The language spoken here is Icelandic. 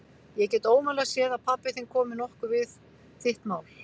Ég get ómögulega séð að pabbi þinn komi nokkuð við þitt mál.